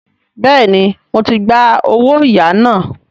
Bẹ́ẹ̀ni, mo ti gba “ owóyàá ” náà.